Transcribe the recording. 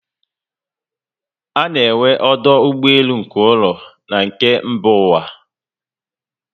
Ana enwe ọdụ ụgbọelu nke ụlọ na na nke mba ụwa